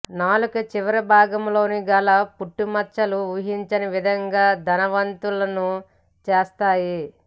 నాలుక చివరి భాగంలోనూ గల పుట్టుమచ్చలు ఊహించని విధంగా ధనవంతులను చేస్తాయి